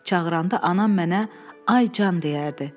Çağıranda anam mənə “Ay can” deyərdi.